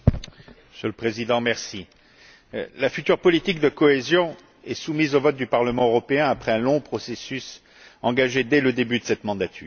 Monsieur le Président, la future politique de cohésion est soumise au vote du Parlement européen après un long processus engagé dès le début de cette mandature.